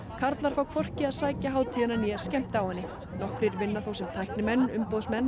karlar fá hvorki að sækja hátíðina né skemmta á henni nokkrir vinna þó sem tæknimenn umboðsmenn